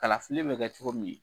Kalafili bɛ kɛ cogo min